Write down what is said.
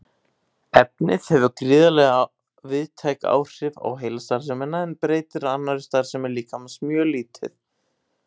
Efnið hefur gríðarlega víðtæk áhrif á heilastarfsemina en breytir annarri starfsemi líkamans mjög lítið.